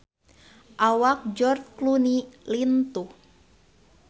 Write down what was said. Awak George Clooney lintuh